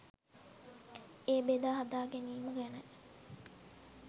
එය බෙදා හදා ගැනීම ගැන.